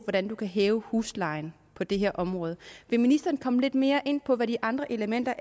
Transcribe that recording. hvordan man kan hæve huslejen på det her område vil ministeren komme lidt mere ind på hvad de andre elementer